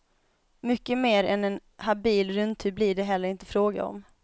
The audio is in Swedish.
Mycket mer än en habil rundtur blir det heller inte fråga om.